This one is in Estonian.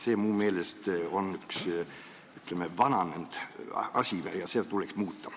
See on minu meelest üks vananenud asi ja seda tuleks muuta.